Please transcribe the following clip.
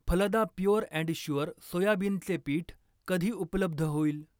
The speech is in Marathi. फलदा प्युअर अँड शुअर सोयाबिनचे पीठ कधी उपलब्ध होईल?